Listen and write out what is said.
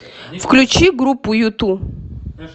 включи группу юту